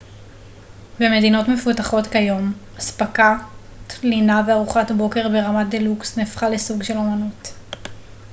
במדינות מפותחות כיום אספקת לינה וארוחת בוקר ברמת דלוקס נהפכה לסוג של אמנות